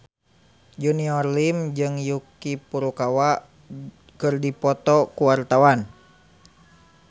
Junior Liem jeung Yuki Furukawa keur dipoto ku wartawan